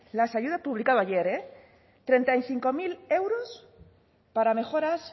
las ayudas publicado ayer eh treinta y cinco mil euros para mejoras